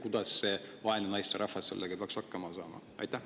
Kuidas see vaene naisterahvas sellega peaks hakkama saama?